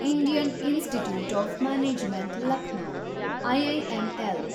Indian institute of management Lucknow, IIML